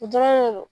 O dɔrɔn de do